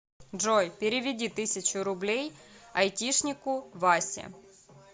джой переведи тысячу рублей айтишнику васе